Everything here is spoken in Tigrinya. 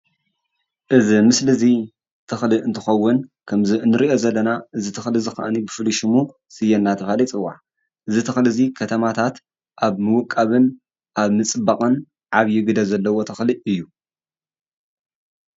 አዚ ምስሊ አዚ ተክሊ አንትከዉን ከምዚ አንሪኦ ዘለና አዚ ተክሊ ከኣ ፉሉይ ሽሙ ስየ አንዳተብሃለ ይጽዋዕ አዚ ተክሊ አዚ ከተማታት ኣብ ምዉቃብን ኣብ ምጽባቅን ዓብዩ ግደ ዘለዎ ተኽሊ አዩ።